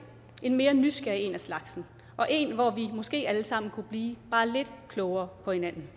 en mere nysgerrig en af slagsen og en hvor vi måske alle sammen kunne blive bare lidt klogere på hinanden